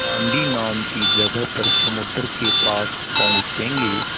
दाँडी नाम की जगह पर समुद्र के पास पहुँचेंगे